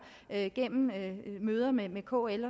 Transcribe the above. gennem møder med med kl